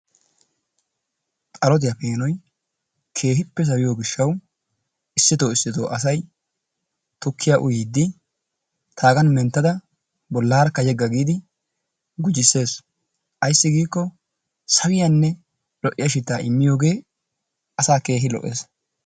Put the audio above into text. Xalottiya peenoy keehippe sawiyyiyo gishshawu issito issito asay tukkiya uyyidi taagan menttada bollaarakka yega giidi gujjisees. Ayssi giiko sawiyanne lo''iya shitaa immiyooge asaa keehi lo''ees.